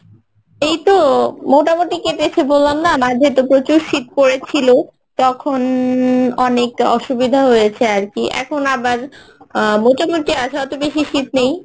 এই তো মোটামুটি কেটেছে বললাম না, মাঝেতো প্রচুর শীত পরেছিল তখন অনেক অসুবিধা হয়েছে আরকি এখন আবার আহ মোটামুটি আছে অত বেশি শীত নেই